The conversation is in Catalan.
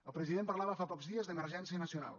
el president parlava fa pocs dies d’ emergència nacional